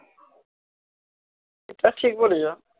এটা ঠিক বলেছো